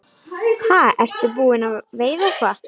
Ha, ertu búinn að veiða eitthvað?